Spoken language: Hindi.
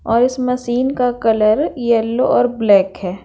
और इस मशीन का कलर येलो और ब्लैक हैं।